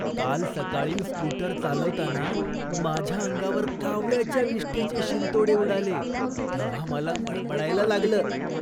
काल सकाळी स्कूटर चालवताना माझ्या अंगावर कावळ्याच्या विष्ठेचे शिंतोडे उडाले तेव्हा मला मळमळायला लागलं.